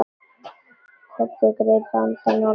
Kobbi greip andann á lofti.